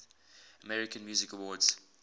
american music awards